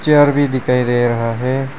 Chair भी दिखाई दे रहा है।